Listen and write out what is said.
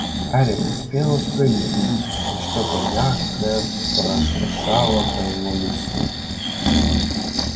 гарри успел отпрыгнуть и что-то мягкое прошуршало по его лицу